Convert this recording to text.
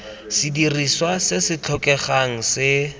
sedirisiwa se se tlhokegang se